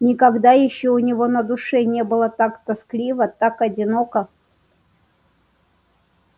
никогда ещё у него на душе не было так тоскливо так одиноко